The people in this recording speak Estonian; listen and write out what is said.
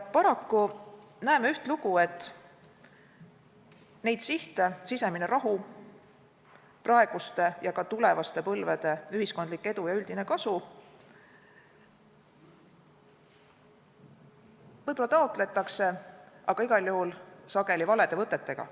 Paraku näeme ühtlugu, et neid sihte – sisemine rahu, praeguste ja ka tulevaste põlvede ühiskondlik edu ja üldine kasu – võib-olla taotletakse, aga igal juhul sageli valede võtetega.